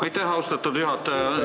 Aitäh, austatud juhataja!